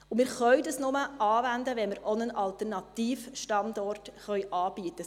Und wir können dieses nur anwenden, wenn wir auch einen Alternativstandort anbieten können.